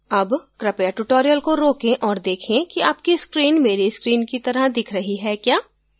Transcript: अब कृपया tutorial को रोकें और देखें कि आपकी screen मेरे screen की तरह दिख रही है क्या